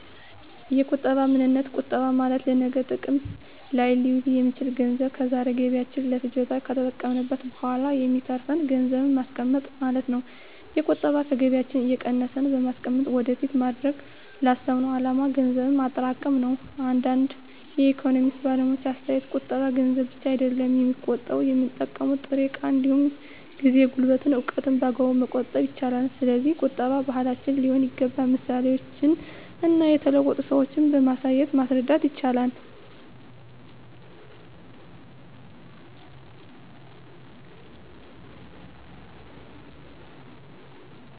የቁጠባ ምንነት ቁጠባ ማለት ለነገ ጥቅም ላይ ሊውል የሚችል ገንዘብ ከዛሬ ገቢያችን ለፍጆታ ከተጠቀምንት በኋላ የሚተርፍን ገንዘብን ማስቀመጥ ማለት ነው። የቁጠባ ከገቢያችን እየቀነስን በማስቀመጥ ወደፊት ማድረግ ላሰብነው አላማ ገንዘብ ማጠራቀም ነው። እንደ አንዳንድ የኢኮኖሚክስ ባለሙያዎች አስተያየት ቁጠባ ገንዘብ ብቻ አይደለም የሚቆጠበው የምንጠቀመው ጥሬ እቃ እንዲሁም ጊዜ፣ ጉልበትን፣ እውቀትን በአግባቡ መቆጠብ ይቻላል። ስለዚህ ቁጠባ ባህላችን ሊሆን ይገባል ምሳሌዎችን እና የተለወጡ ሰዎችን በማሳየት ማስረዳት ይቻላል